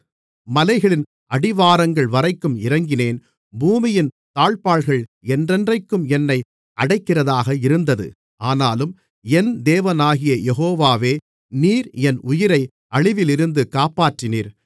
மலைகளின் அடிவாரங்கள்வரைக்கும் இறங்கினேன் பூமியின் தாழ்ப்பாள்கள் என்றென்றைக்கும் என்னை அடைக்கிறதாக இருந்தது ஆனாலும் என் தேவனாகிய யெகோவாவே நீர் என் உயிரை அழிவிலிருந்து காப்பாற்றினீர்